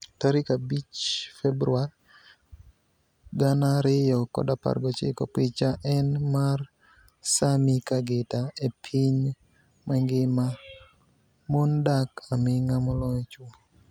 5 Februar 2019 Picha eni mar Sammy Kagita e piniy manigima, moni dak aminig'a moloyo chwo.